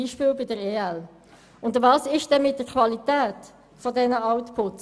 Was ist mit der Qualität dieser Outputs?